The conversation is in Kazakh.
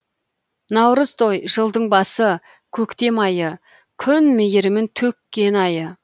наурызтой жылдың басы көктем айы күн мейірімін төккен айы